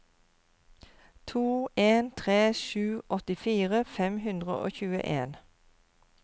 to en tre sju åttifire fem hundre og tjueen